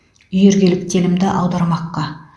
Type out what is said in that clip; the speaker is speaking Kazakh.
үйіргелік телімді аудармаққа